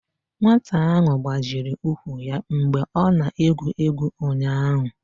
nwata ahụ gbajiri ụkwụ ya mgbe ọ na-egwu egwu ụnyahụ